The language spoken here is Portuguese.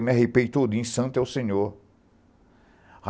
Eu me arrepei tudo, em santo é o senhor.